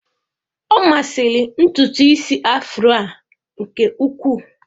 Ọ masịrị ntutu isi Afro a nke ukwuu.